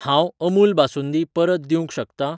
हांव अमूल बासुंदी परत दिवंक शकतां?